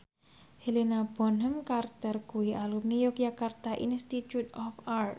Helena Bonham Carter kuwi alumni Yogyakarta Institute of Art